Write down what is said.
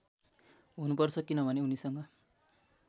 हुनुपर्छ किनभने उनीसँग